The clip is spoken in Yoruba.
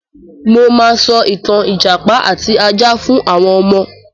Mo máa sọ ìtà ìjàpá àti ajá fún àwọn ọmọ.